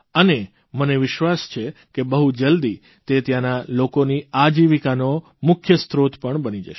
અને મને વિશ્વાસ છે કે બહુ જલ્દી તે ત્યાંના લોકોની આજીવિકાનો મુખ્ય સ્ત્રોત પણ બની જશે